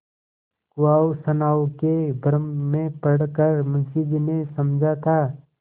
कुवासनाओं के भ्रम में पड़ कर मुंशी जी ने समझा था